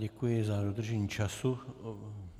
Děkuji za dodržení času.